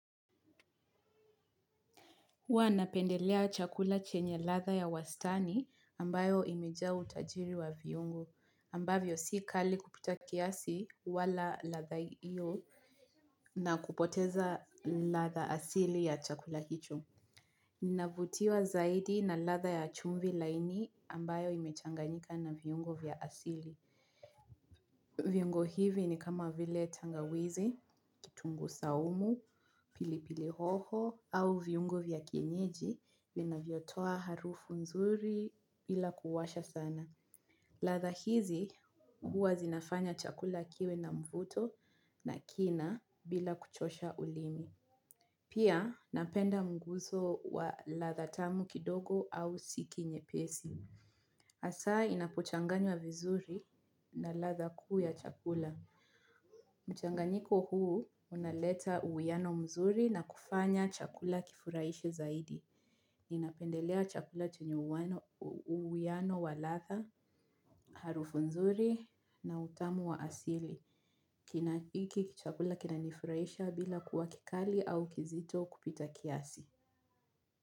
Huwa napendelea chakula chenye ladha ya wastani ambayo imejaa utajiri wa viungo ambavyo si kali kupita kiasi wala ladha iyo na kupoteza ladha asili ya chakula hicho. Ninavutiwa zaidi na ladha ya chumvi laini ambayo imechanganyika na viungo vya asili. Viungo hivi ni kama vile tangawizi, kitunguu saumu, pilipili hoho, au viungo vya kienyeji vinavyotoa harufu nzuri bila kuwasha sana. Ladha hizi huwa zinafanya chakula kiwe na mvuto na kina bila kuchosha ulimi. Pia napenda mguso wa ladha tamu kidogo au siki nyepesi. Hasa inapochanganywa vizuri na ladha kuu ya chakula mchanganyiko huu unaleta uwiano mzuri na kufanya chakula kifurahishe zaidi. Ninapendelea chakula chenye uwiano wa ladha, harufu nzuri na utamu wa asili. Hiki chakula kinanifurahisha bila kuwa kikali au kizito kupita kiasi.